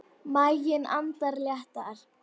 Maginn andar léttar.